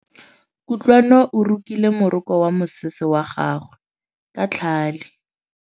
Kutlwanô o rokile morokô wa mosese wa gagwe ka tlhale.